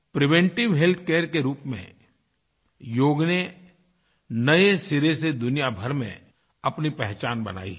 preventive healthcare के रूप में योग ने नये सिरे से दुनियाभर में अपनी पहचान बनाई है